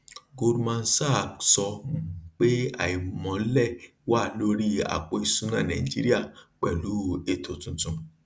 goldman sach sọ um pé àìmọlẹ wà lórí àpò ìsúná nàìjíríà pẹlú ètò tuntun